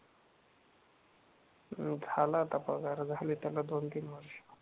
हम्म झाला आता पगार, झाले त्याला दोन तीन वर्ष.